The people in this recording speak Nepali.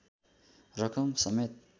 रकम समेत